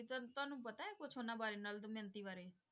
ਤੁਹਾਨੂੰ ਤੁਹਾਨੂੰ ਪਤਾ ਹੈ ਕੁਛ ਉਹਨਾਂ ਬਾਰੇ ਨਲ ਦਮਿਅੰਤੀ ਬਾਰੇ?